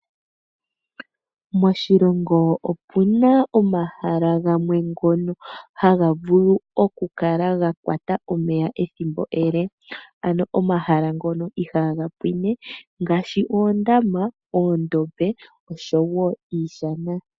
Moshilongo omuna omahala gamwe ngono haga vulu oku kala gakwata omeya ethimbo ele, ano omahala ngono ihaa ga pwine ngaashi oondama, oondombe oshowo iishana.